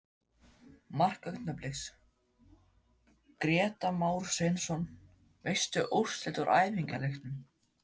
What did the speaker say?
Mark Augnabliks: Grétar Már Sveinsson Veistu úrslit úr æfingaleikjum?